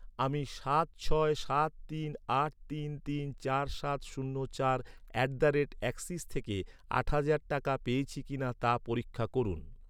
আমি সাত ছয় সাত তিন আট তিন তিন চার সাত শূন্য চার অ্যাট দ্য রেট অ্যাক্সিস থেকে আট হাজার টাকা পেয়েছি কিনা তা পরীক্ষা করুন।